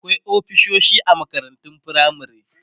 akwai ofisoshi a makarantun firamare